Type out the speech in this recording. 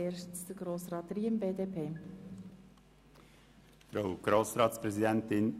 Zuerst hat Grossrat Riem, BDP, das Wort.